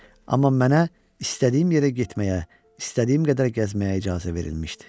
Amma mənə istədiyim yerə getməyə, istədiyim qədər gəzməyə icazə verilmişdi.